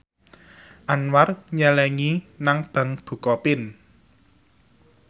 Anwar nyelengi nang bank bukopin